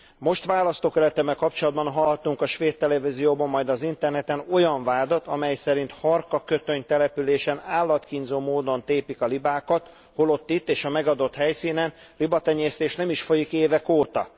Most választókerületemmel kapcsolatban hallhattunk a svéd televízióban, majd az interneten olyan vádat, amely szerint Harkakötöny településen állatkínzó módon tépik a libákat, holott itt és a megadott helyszínen libatenyésztés nem is folyik évek óta.